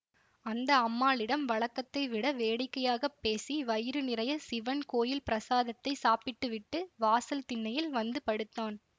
அந்த அம்மாளிடம் வழக்கத்தை விட வேடிக்கையாக பேசி வயிறு நிறைய சிவன் கோயில் பிரசாதத்தைச் சாப்பிட்டு விட்டு வாசல் திண்ணையில் வந்து படுத்தான்